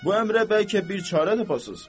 Bu əmrə bəlkə bir çarə tapasız.